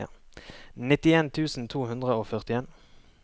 nittien tusen to hundre og førtien